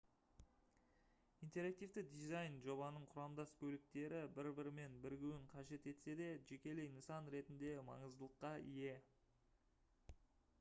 интерактивті дизайн жобаның құрамдас бөліктері бір-бірімен бірігуін қажет етсе де жекелей нысан ретінде маңыздылыққа ие